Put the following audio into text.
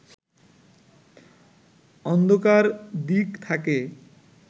অন্ধকার দিক থাকে